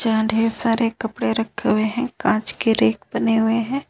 जहां ढेर सारे कपड़े रखे हुए हैं कांच के रैक बने हुए हैं।